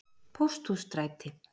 Pósthússtræti